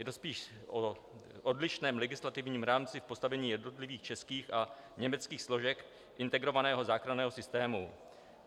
Je to spíš o odlišném legislativním rámci v postavení jednotlivých českých a německých složek integrovaného záchranného systému.